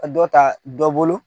Ka dɔ ta dɔ bolo